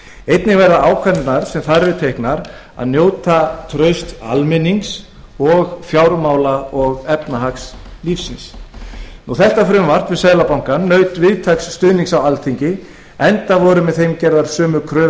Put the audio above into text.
einnig verða ákvarðanir sem þar eru teknar að njóta trausts almennings og fjármála og efnahagslífsins frumvarpið naut víðtæks stuðnings á alþingi enda voru með því gerðar sömu kröfur